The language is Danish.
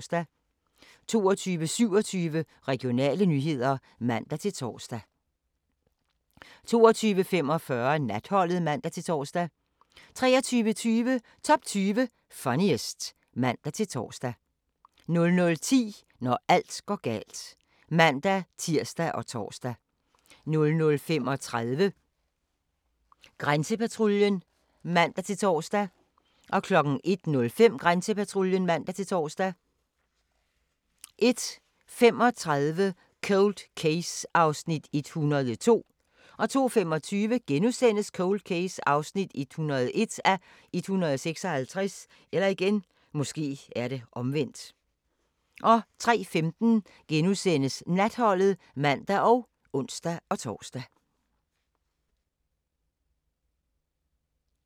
22:27: Regionale nyheder (man-tor) 22:45: Natholdet (man-tor) 23:20: Top 20 Funniest (man-tor) 00:10: Når alt går galt (man-tir og tor) 00:35: Grænsepatruljen (man-tor) 01:05: Grænsepatruljen (man-tor) 01:35: Cold Case (102:156) 02:25: Cold Case (101:156)* 03:15: Natholdet *(man og ons-tor)